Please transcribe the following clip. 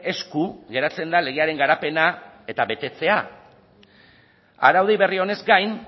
esku geratzen da legearen garapena eta betetzea araudi berri honez gain